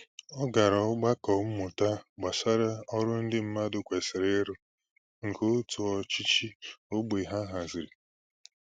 Ọ gara ogbako mmụta gbasà ọrụ ndị mmadụ kwesịrị ịrụ, nke òtù ọchịchị ógbè ha haziri.